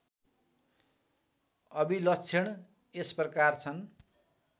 अभिलक्षण यसप्रकार छन्